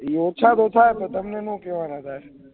ઓછા ઓછા તમને ના કેહ્વાનુ સાહેબ